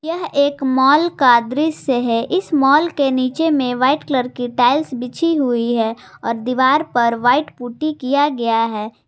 यह एक मॉल का दृश्य है इस मॉल के नीचे में व्हाइट कलर की टाइल्स बिछी हुई है और दीवार पर व्हाइट पुट्टी किया गया है।